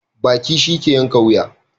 Baki shi ke yanka wuya.